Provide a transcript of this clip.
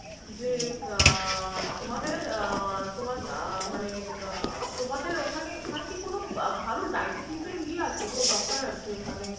যে আহ তোমাদের আহ তোমার আহ মানে আহ তোমাদের ওখানে ওখানে কি কোনো ভালো diabetes এর ইয়ে আছে গো doctor আছে ওখানে?